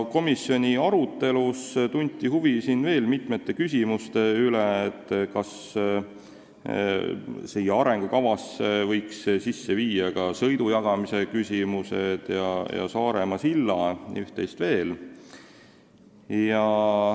Komisjoni arutelus tunti huvi veel mitme küsimuse vastu, näiteks kas arengukavasse võiks lülitada ka sõidu jagamise teema ja Saaremaa silla ning üht-teist veel.